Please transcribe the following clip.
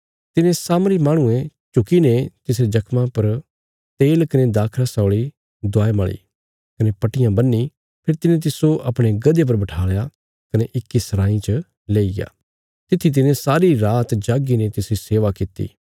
तिने सामरी माहणुये झुकीने तिसरे जख्मां पर तेला कने दाखरस औल़ी दवाय मल़ी कने पट्टियां बन्ही फेरी तिने तिस्सो अपणे गधे पर बठालया कने इक्की सराईं च लेईग्या तित्थी तिने सारी रात जाग्गीने तिसरी सेवा किति